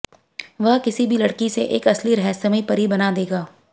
वह किसी भी लड़की से एक असली रहस्यमय परी बना देगा